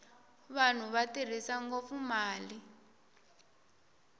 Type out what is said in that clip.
vanhu va tirhisa ngopfu mali